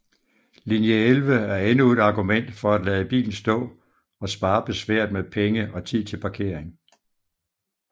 Linje 11 er endnu et argument for at lade bilen stå og spare besværet med penge og tid til parkering